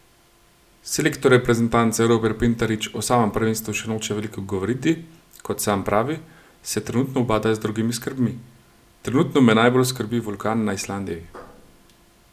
Selektor reprezentance Robert Pintarič o samem prvenstvu še noče veliko govoriti, kot sam pravi, se trenutno ubada z drugimi skrbmi: 'Trenutno me najbolj skrbi vulkan na Islandiji.